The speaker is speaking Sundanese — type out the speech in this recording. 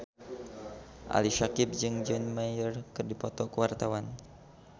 Ali Syakieb jeung John Mayer keur dipoto ku wartawan